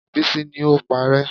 Bísí ní o paárẹ́